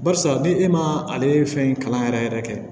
Barisa ni e ma ale ye fɛn in kalan yɛrɛ yɛrɛ kɛ